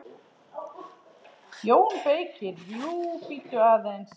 JÓN BEYKIR: Jú, bíddu aðeins!